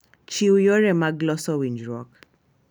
Chiw yore mag loso winjruok.